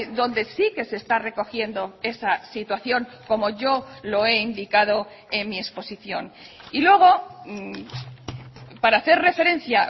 donde sí que se está recogiendo esa situación como yo lo he indicado en mi exposición y luego para hacer referencia